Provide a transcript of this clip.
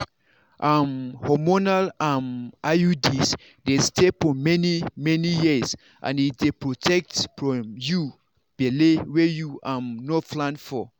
um hormonal um iuds dey stay for many-many years and e dey protect from you belle wey you um no plan for.